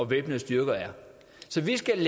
væbnede styrker er så vi skal